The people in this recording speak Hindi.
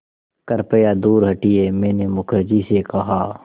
कृपया दूर हटिये मैंने मुखर्जी से कहा